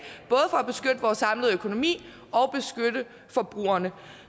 for at samlede økonomi og forbrugerne